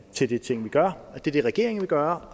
til de ting vi gør og til det regeringen vil gøre